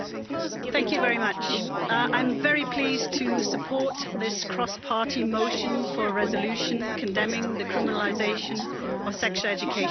Mr President, I'm very pleased to support this cross party motion for a resolution condemning the criminalisation of sexual education in Poland.